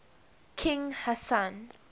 king hassan